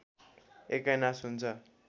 एकैनास हुन्छ